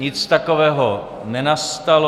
Nic takového nenastalo.